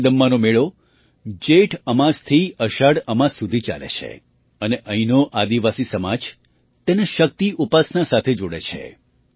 મારીદમ્માનો મેળો જેઠ અમાસથી અષાઢ અમાસ સુધી ચાલે છે અને અહીંનો આદિવાસી સમાજ તેને શક્તિ ઉપાસના સાથે જોડે છે